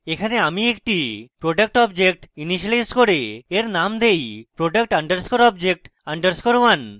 এখানে আমি একটি product object ইনিসিয়েলাইজ করে এর named দেই product _ object _ 1